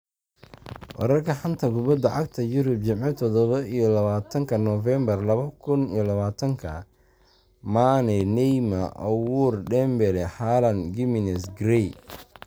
Wararka xanta kubada cagta Yurub Jimce todoba iyo labatanka Novembaar laba kuun iyo labatanka : Mane, Neymar, Aouar, Dembele, Haaland, Gimenez, Gray